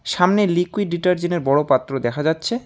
সামনে লিকুইড ডিটারজেন্টের বড় পাত্র দেখা যাচ্ছে।